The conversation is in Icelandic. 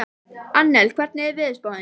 Annel, hvernig er veðurspáin?